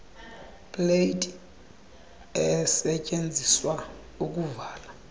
plate esetyenziswa ukuvala